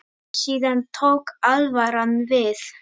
Síðan tók alvaran við.